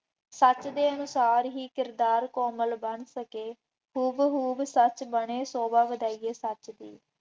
ਸੱਚ ਦੇ ਅਨੁਸਾਰ ਹੀ ਕਰਤਾਰ ਕੋਮਲ ਬਣ ਸਕੇ। ਹੂ ਬ ਹੂਬ ਸੱਚ ਬਣੇ ਸ਼ੋਭਾ ਵਧਾਈਏ ਸੱਚ ਦੀ।